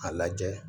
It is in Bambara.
A lajɛ